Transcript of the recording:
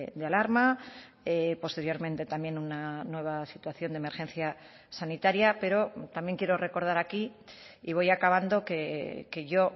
de alarma posteriormente también una nueva situación de emergencia sanitaria pero también quiero recordar aquí y voy acabando que yo